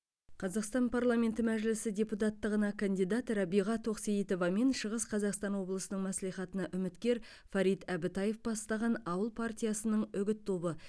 қазақстан парламент мәжілісі депутаттығына кандидат рәбиға тосейітова мен шығыс қазақстан облысының мәслихатына үміткер фарид әбітаев бастаған ауыл партиясының үгіт тобы